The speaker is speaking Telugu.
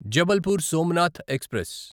జబల్పూర్ సోమనాథ్ ఎక్స్ప్రెస్